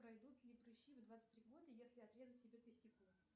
пройдут ли прыщи в двадцать три года если отрезать себе тестикулы